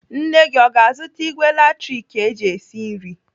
Nne gị o ga-azụta ìgwè latrik eji esi nri?